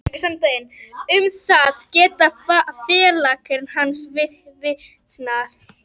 Um það geta félagar hans vitnað.